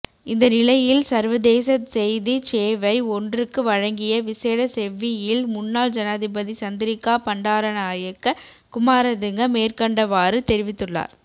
இந்தநிலையில் சர்வதேச செய்திச் சேவை ஒன்றுக்கு வழங்கிய விசேட செவ்வியில் முன்னாள் ஜனாதிபதி சந்திரிகா பண்டாரநாயக்க குமாரதுங்க மேற்கண்டவாறு தெரிவித்துள்ளார்